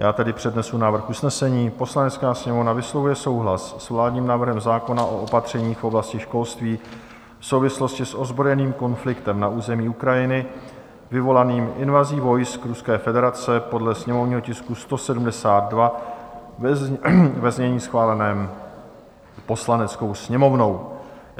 Já tedy přednesu návrh usnesení: "Poslanecká sněmovna vyslovuje souhlas s vládním návrhem zákona o opatřeních v oblasti školství v souvislosti s ozbrojeným konfliktem na území Ukrajiny vyvolaným invazí vojsk Ruské federace, podle sněmovního tisku 172, ve znění schváleném Poslaneckou sněmovnou."